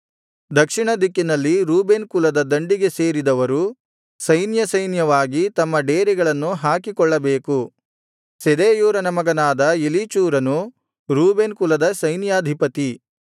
ದಕ್ಷಿಣ ದಿಕ್ಕಿನಲ್ಲಿ ರೂಬೇನ್ ಕುಲದ ದಂಡಿಗೆ ಸೇರಿದವರು ಸೈನ್ಯ ಸೈನ್ಯವಾಗಿ ತಮ್ಮ ಡೇರೆಗಳನ್ನು ಹಾಕಿಕೊಳ್ಳಬೇಕು ಶೆದೇಯೂರನ ಮಗನಾದ ಎಲೀಚೂರನು ರೂಬೇನ್ ಕುಲದ ಸೈನ್ಯಾಧಿಪತಿ